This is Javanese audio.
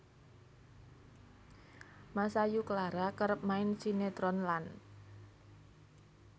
Masayu Clara kerep main sinetron lan